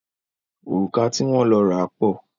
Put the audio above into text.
Òrùka ti wọ́n lọ ra pọ̀.